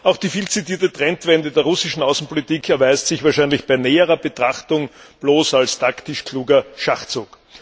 Auch die vielzitierte Trendwende der russischen Außenpolitik erweist sich wahrscheinlich bei näherer Betrachtung bloß als taktisch kluger Schachzug.